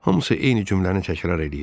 Hamısı eyni cümləni təkrar eləyirdi.